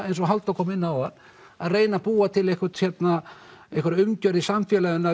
eins og Halldór kom inn áðan að búa til einhverja einhverja umgjörð í samfélaginu